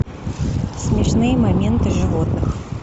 смешные моменты животных